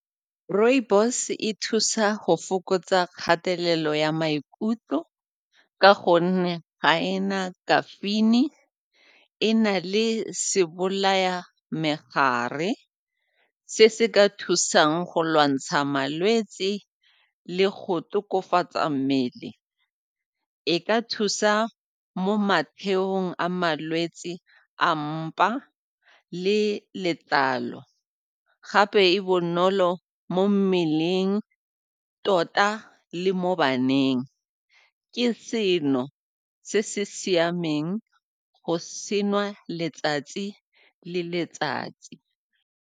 Rooibos e thusa go fokotsa kgatelelo ya maikutlo ka gonne ga ena caffeine-i, e na le se bolaya megare se se ka thusang go lwantsha malwetse le go tokafatsa mmele. E ka thusa mo a malwetse a mpa le letlalo gape e bonolo mo mmeleng tota le mo baneng, ke seno se se siameng go se nwa letsatsi le letsatsi.